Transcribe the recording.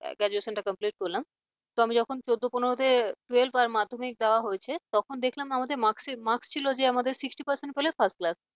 graduation টা complete করলাম তো আমি যখন চোদ্দ পনেরো তে twelve আর মাধ্যমিক দেওয়া হয়েছে তখন দেখলাম আমাদের marksheet marks ছিল যে sixty percent পেলে first class ।